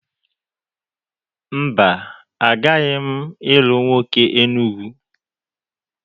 Mba, agaghị m ilu nwoke Enugwu